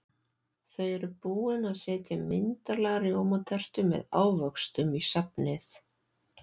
Þau eru búin að setja myndarlega rjómatertu með ávöxtum í safnið.